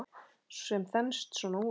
Sem þenst svona út